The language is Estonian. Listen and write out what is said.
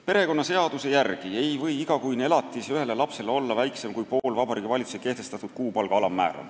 Perekonnaseaduse järgi ei või igakuine elatis ühele lapsele olla väiksem kui pool Vabariigi Valitsuse kehtestatud kuupalga alammäära.